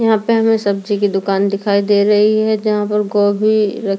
यहां पे हमें सब्जी की दुकान दिखाई दे रही है यहां पर गोभी रखी --